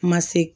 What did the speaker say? Ma se